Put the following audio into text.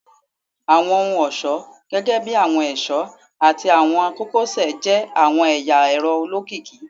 Awọn ohun-ọṣọ gẹgẹbi awọn ẹṣọ ati awọn kokosẹ jẹ awọn ẹya ẹrọ olokiki